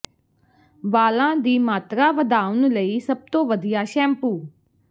ਵਾਲਾਂ ਦੀ ਮਾਤਰਾ ਵਧਾਉਣ ਲਈ ਸਭ ਤੋਂ ਵਧੀਆ ਸ਼ੈਂਪੂ